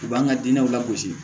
U b'an ka dinɛw lagosi